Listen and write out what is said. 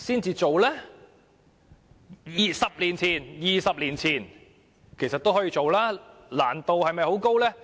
其實 ，20 年前也可以做，難度是否很高？